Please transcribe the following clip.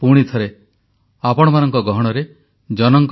• ଅନ୍ତର୍ଜାତୀୟ ଯୋଗ ଦିବସକୁ ସଫଳ କରିଥିବାରୁ ବିଶ୍ୱବାସୀଙ୍କୁ କୃତଜ୍ଞତା ଜଣାଇଲେ